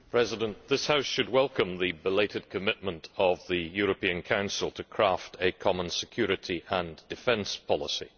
Mr President, this House should welcome the belated commitment of the European Council to craft a common security and defence policy.